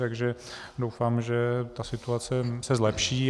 Takže doufám, že ta situace se zlepší.